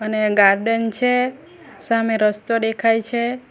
ને ગાર્ડન છે સામે રસ્તો દેખાઈ છે.